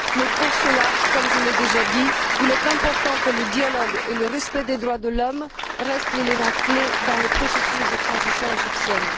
Mais pour ce faire, comme je l'ai déjà dit, il est important que le dialogue et le respect des droits de l'homme restent les éléments clés dans le processus de transition égyptienne.